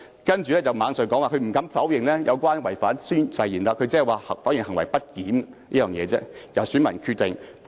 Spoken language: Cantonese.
他接着又說不敢否認違反誓言，但否認行為不檢，因此應交由選民決定。